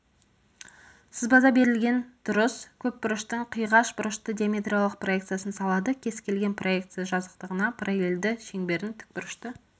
сызбада берілген дұрыс көпбұрыштың қиғаш бұрышты диаметриялық проекциясын салады кез келген проекция жазықтығына параллельді шеңбердің тікбұрышты